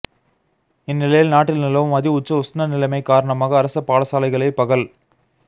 இந்நிலையில் நாட்டில் நிலவும் அதிஉச்ச உஸ்ணநிலைமை காரணமாக அரச பாடசாலைகளை பகல்